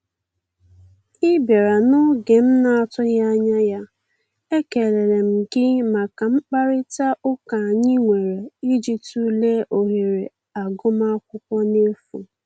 Ị bịara oge m na atụghị anya ya, ekelere m gị maka mkparịta ụka anyị nwere ịjị tụlee ohere agụm akwụkwọ n'efu